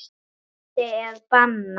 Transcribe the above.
Vændi er bannað.